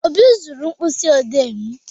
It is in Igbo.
Obi zuru mkpịsị odee m.